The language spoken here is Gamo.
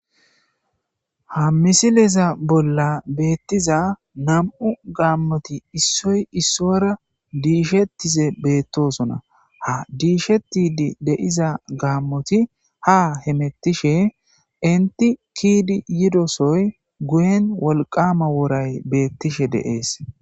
Haa misilezza bolla betizza nam''u gamotti isoyi isuwara dishshetize betosona .haa dishshetide de'iza gamoti haa hemetishe enitti ke'iddi yidosoyi guyenni wolqama worayi betishshe de'ees.